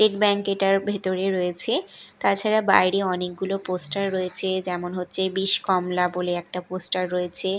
State bank এটার ভেতরে রয়েছে তাছাড়া বাইরে অনেকগুলো পোস্টার রয়েছে যেমন হচ্ছে বিষ কমলা বলে একটা পোস্টার রয়েছে।